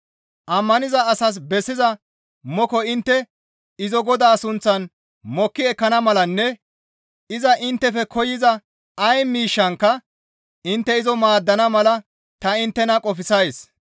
Ammaniza asas bessiza moko intte izo Godaa sunththan mokki ekkana malanne iza inttefe koyza ay miishshankka intte izo maaddana mala ta inttena qofsays.